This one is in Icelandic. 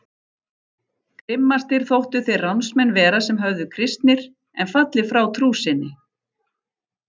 Grimmastir þóttu þeir ránsmenn vera sem verið höfðu kristnir en fallið frá trú sinni.